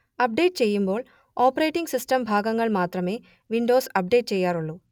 update ചെയ്യുമ്പോൾ operating system ഭാഗങ്ങൾ മാത്രമേ വിൻഡോസ് അപ്ഡേറ്റ് ചെയ്യാറുള്ളു